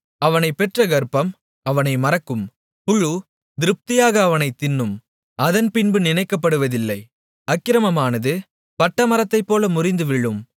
அவனைப் பெற்ற கர்ப்பம் அவனை மறக்கும் புழு திருப்தியாக அவனைத் தின்னும் அவன் அதன்பின்பு நினைக்கப்படுவதில்லை அக்கிரமமானது பட்டமரத்தைப்போல முறிந்துவிழும்